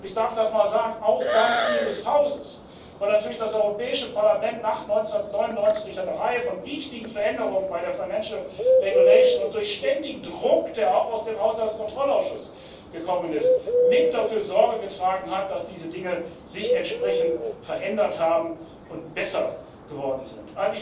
Und ich darf das mal sagen auch Dank Ihres Hauses, weil natürlich das Europäische Parlament nach 1999 durch eine Reihe von wichtigen Veränderungen bei der Haushaltsordnung und durch ständigen Druck, der auch aus dem Haushaltskontrollausschuss gekommen ist, mit dafür Sorge getragen hat, dass sich diese Dinge entsprechend verändert haben und besser geworden sind.